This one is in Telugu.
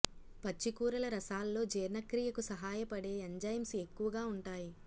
పచ్చి కూరల రసాల్లో జీర్ణక్రియకు సహాయపడే ఎంజైమ్స్ ఎక్కువగా ఉంటాయి